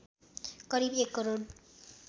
करिब १ करोड